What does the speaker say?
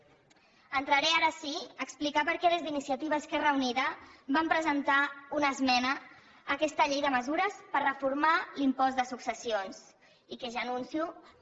entraré ara sí a explicar per què des d’iniciativa esquerra unida vam presentar una esmena a aquesta llei de mesures per reformar l’impost de successions i que ja anuncio que